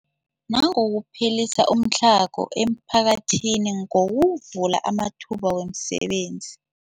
Nangokuphelisa umtlhago emiphakathini ngokuvula amathuba wemisebenzi.